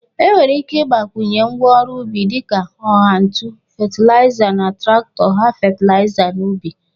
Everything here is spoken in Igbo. E nwere ike igbakwụnye ngwa ọrụ ubi dịka ọgha ntụ fetilịza na trakitọ gha fetelịza n'ubi.